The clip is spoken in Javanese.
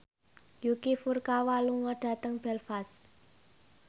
Yuki Furukawa lunga dhateng Belfast